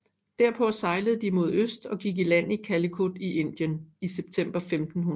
Derpå sejlede de mod øst og gik i land i Calicut i Indien i september 1500